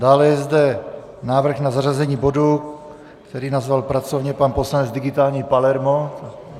Dále je zde návrh na zařazení bodu, který nazval pracovně pan poslanec Digitální Palermo.